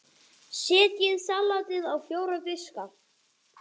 Setjið salatið á fjóra diska.